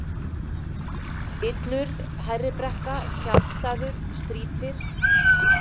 Illurð, Hærribrekka, Tjaldstaður, Strýpir